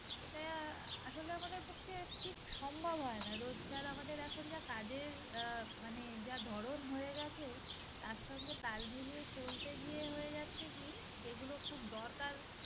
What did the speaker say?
এটা অ্যাঁ আমাদের পক্ষে ঠিক সম্ভব হয় না রোজকার আমাদের এখন যা কাজের অ্যাঁ মানে যা ধরন হয়ে গেছে তার সঙ্গে তালমিলিয়ে চলতে গিয়ে হয়ে যাচ্ছে কি যেগুলো খুব দরকার